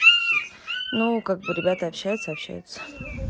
ну как бы ребята общаются общаются